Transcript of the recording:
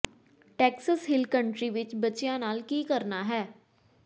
Texas Hill Country ਵਿੱਚ ਬੱਚਿਆਂ ਨਾਲ ਕੀ ਕਰਨਾ ਹੈ